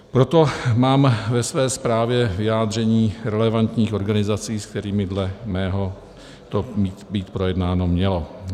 Proto mám ve své zprávě vyjádření relevantních organizací, se kterými dle mého to být projednáno mělo.